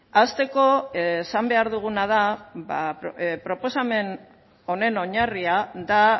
hasteko esan behar duguna da ba proposamen honen oinarria da